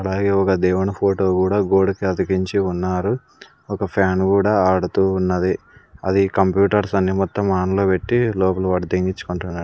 అలాగే ఒక దేవుని ఫోటో కూడా గోడకి అతికించి ఉన్నారు ఒక ఫ్యాను గూడా ఆడుతూ ఉన్నది అది కంప్యూటర్స్ అన్ని మొత్తం ఆన్ లో పెట్టి లోపల వాడు .